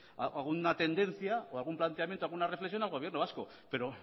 alguna tendencia o algún planteamiento alguna reflexión al gobierno vasco pero